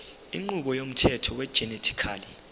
inqubo yomthetho wegenetically